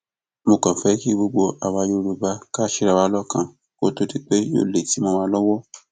mo kàn fẹ kí gbogbo àwa yorùbá kà ṣera wa lọkan kó tóó di pé yóò léètì mọ wa lọwọ